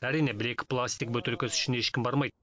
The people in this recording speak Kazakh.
әрине бір екі пластик бөтелкесі үшін ешкім бармайды